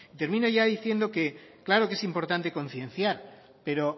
termina yo diciendo que claro que es importante concienciar pero